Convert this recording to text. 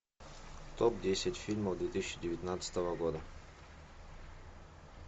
топ десять фильмов две тысячи девятнадцатого года